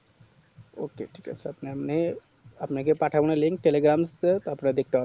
ok ঠিক আছে আপনার মে আপনাকে পাঠাবো না link telegram তো তার পরে দেখতে পারবেন